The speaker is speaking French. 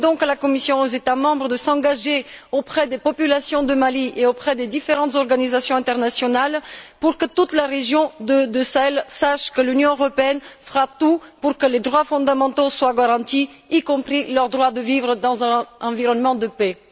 Je demande donc à la Commission et aux États membres de s'engager auprès des populations du Mali et auprès des différentes organisations internationales pour que toute la région du Sahel sache que l'Union européenne fera tout pour que les droits fondamentaux soient garantis, y compris le droit de vivre dans un environnement de paix.